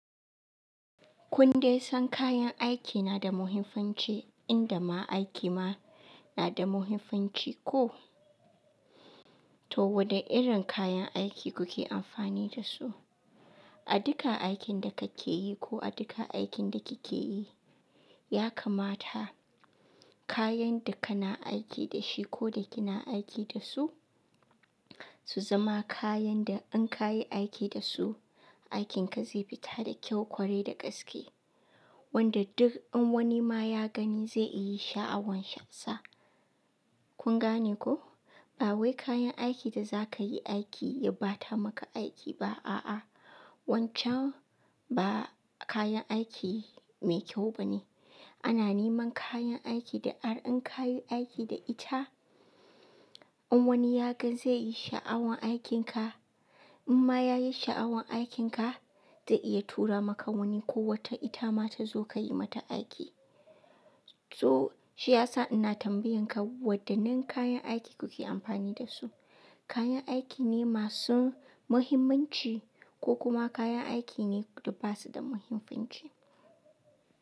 Kun dai san kayan aiki na da muhimmanci inda ma aiki ma na da muhimmanci ko? To, wane irin kayan aiki kuke amfani da su a duka aikin da kake yi ko a duka aikin da kike yi, ya kamata kayan da kana aiki da shi ko da kina aiki da su, su zama kayan da in ka yi aiki da su, aikinka zai fita da kyau, ƙwarai da gaske wanda duk in wani ma ya gani zai yi sha'awan sa. Kun gane ko? Ba wai kayan aiki da za ka yi aiki ya ba ta maka aiki ba, a'a. Wancan ba kayan aiki mai kyau ba ne. Ana neman kayan aiki da har in ka yi aiki da ita, in wani ya ga zai yi sha'awan aikinka. In ma ya yi sha'awan aikinka, zai iya tura maka wani ko wata ita ma ta zo ka yi mata aiki. To, shi ya sa ina tambayan ka wadannan kayan aiki kuke amfani da su. Kayan aiki ne masu muhimmanci ko kuma kayan aiki ne da ba su da muhimmanci?